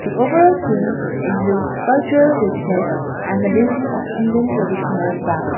overall scene excutes cultural richness and the beauty of indian traditional dance.